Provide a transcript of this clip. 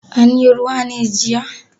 Anyi ruwa ne jiya?